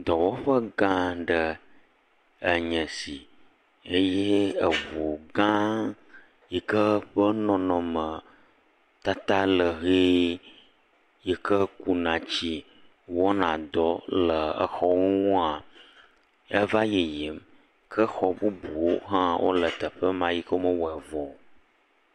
Dɔwɔƒegã aɖe enye esi eye eʋugã yike eƒe nɔnɔme tata le ɣi yike kuna etsi wɔna dɔ le xɔwonua eva yiyim ke xɔ bubuwo ha le teƒema yike wome wɔ vɔ o